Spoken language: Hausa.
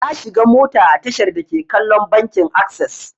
Na shiga mota a tashar dake kallon bankin akses.